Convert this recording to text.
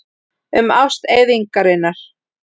Um ást eyðingarinnar.